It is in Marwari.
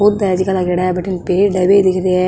पौधा है जेका लागेडा है पेड़ है बे दिख रा है।